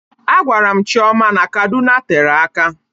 A gwara m Chioma n'Kaduna tere aka